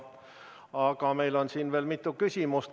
Aga meil on siin veel mitu küsimust.